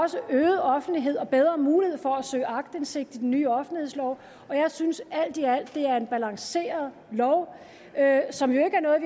også øget offentlighed og bedre mulighed for at søge aktindsigt i den nye offentlighedslov og jeg synes alt i alt det er en balanceret lov som jo ikke er noget